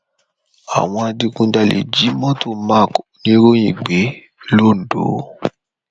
àwọn adigunjalè jí mọtò mark oníròyìn gbé londo